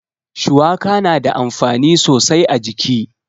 Shuwaka na da amfani sosai a jiki.